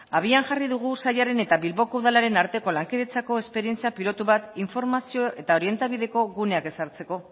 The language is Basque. abian jarri dugu sailaren eta bilboko udalaren arteko lankidetzako esperientzia pilotu bat informazio eta orientabideko guneak ezartzeko